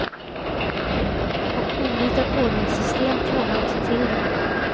Och olika kodningssystem krånglar också till det.